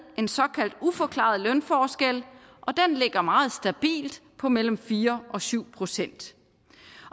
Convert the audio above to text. en såkaldt uforklaret lønforskel og den ligger meget stabilt på mellem fire og syv procent